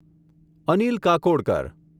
Anil Kakodkar